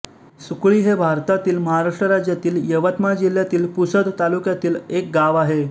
सुकळी हे भारतातील महाराष्ट्र राज्यातील यवतमाळ जिल्ह्यातील पुसद तालुक्यातील एक गाव आहे